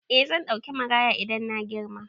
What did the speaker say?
Eh zan ɗauki maraya idan na girma.